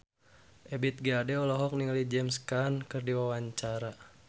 Ebith G. Ade olohok ningali James Caan keur diwawancara